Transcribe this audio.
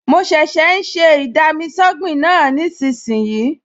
Mo ṣẹ̀ṣẹ̀ ń ṣe ì-dami-sọ́gbìn náà nísinsìnyí